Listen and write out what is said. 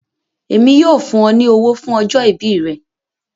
Ẹ̀mi yóò fún ọ ni ọ̀wọ̀ fún ọjọ́-ìbí rẹ̀